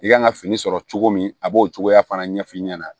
I kan ka fini sɔrɔ cogo min a b'o cogoya fana ɲɛf'i ɲɛna